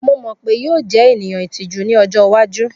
Mo mọ pe yoo jẹ eniyan itiju ni ọjọ iwaju.